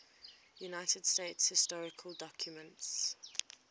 united states historical documents